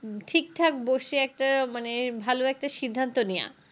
ঠিক ঠাক বসে একটা মানে ভালো একটা সিদ্ধান্ত নেওয়া